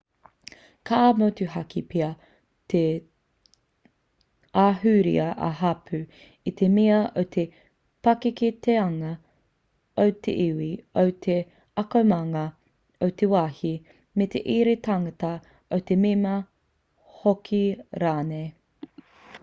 ka motuhake pea te ahurea-ā-hapū i te mea o te pakeketanga o te iwi o te akomanga o te wāhi me te ira tangata o te mema hoki rānei